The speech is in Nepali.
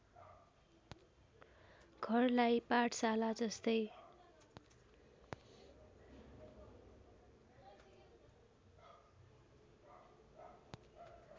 घरलाई पाठशाला जस्तै